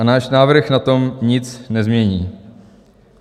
A náš návrh na tom nic nezmění.